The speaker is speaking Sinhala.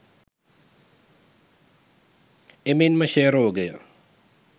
එමෙන්ම ක්ෂය රෝගය